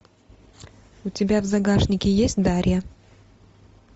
у тебя в загашнике есть дарья